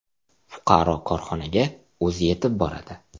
Fuqaro korxonaga o‘zi yetib boradi.